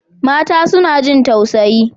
Mata suna jin tausayi.